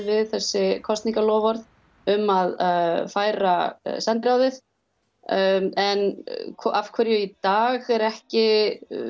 við þessi kosningaloforð um að færa sendiráðið en af hverju í dag er ekki